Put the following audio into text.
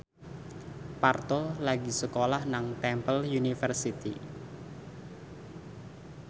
Parto lagi sekolah nang Temple University